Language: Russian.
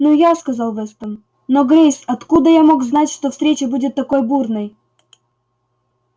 ну я сказал вестон но грейс откуда я мог знать что встреча будет такой бурной